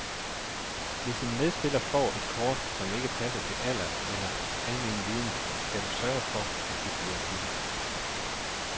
Hvis en medspiller får et kort, som ikke passer til alder eller almenviden, skal du sørge for, at det bliver byttet.